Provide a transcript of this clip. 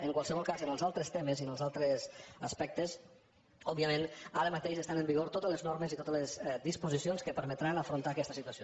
en qualsevol cas en els altres temes i en els altres aspectes òbviament ara mateix estan en vigor totes les normes i totes les disposicions que permetran afrontar aquesta situació